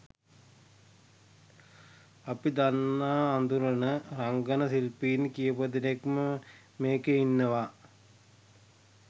අපි දන්න අඳුරන රංගන ශිල්පීන් කීපදෙනෙක්ම මේකෙ ඉන්නවා.